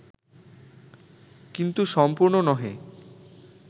কিন্তু সম্পূর্ণ নহে